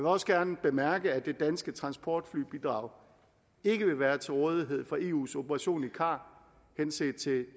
også gerne bemærke at det danske transportflybidrag ikke vil være til rådighed for eus operation i car henset til